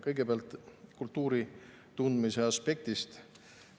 Kõigepealt kultuuri tundmise aspektist.